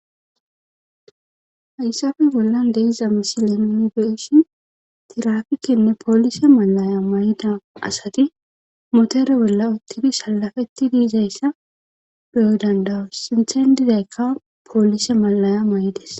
Hayssafe bollan de7iza misilenoni beyishin tirafikenne poolise mallaya may7ida asati motere bolla uttibi salafetti dizayssa beyo danda7oos sinthen dizaykka poolise mallaya may7ides.